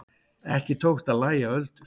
Ekki tókst að lægja öldur.